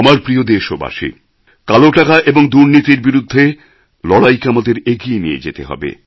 আমার প্রিয় দেশবাসী কালো টাকা এবং দুর্নীতির বিরুদ্ধে লড়াইকে আমাদের এগিয়ে নিয়ে যেতে হবে